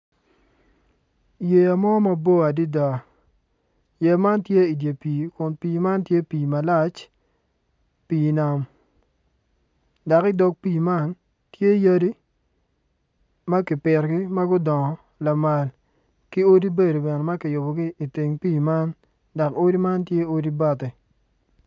Yeya mo mabor adida yeya man tye idye pii kun pii man tye pii malac pii nam dok i dog pii man tye yadi ma kipitogi ma gudongo lamal ki odi bedo bene ma kiyubogi iteng pii man dok odi man tye odi bati